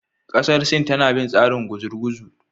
Kasar Sin tana bin tsarin gurguzu.